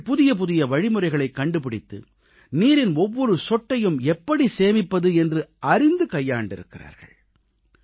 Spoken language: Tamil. அவர்கள் புதியபுதிய வழிமுறைகளைக் கண்டுபிடித்து நீரின் ஒவ்வொரு சொட்டையும் எப்படி சேமிப்பது என்று அறிந்து கையாண்டிருக்கிறார்கள்